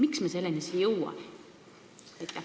Miks me selleni ei ole jõudnud?